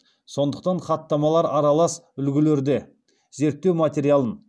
сондықтан хаттамалар аралас үлгілерде